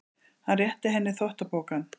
Hann réttir henni þvottapokann.